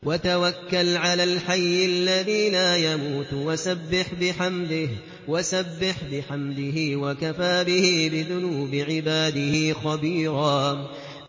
وَتَوَكَّلْ عَلَى الْحَيِّ الَّذِي لَا يَمُوتُ وَسَبِّحْ بِحَمْدِهِ ۚ وَكَفَىٰ بِهِ بِذُنُوبِ عِبَادِهِ خَبِيرًا